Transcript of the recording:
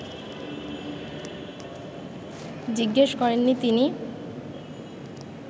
জিজ্ঞেস করেননি তিনি